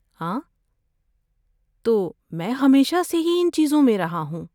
آں، تو، میں ہمیشہ سے ہی ان چیزوں میں رہا ہوں۔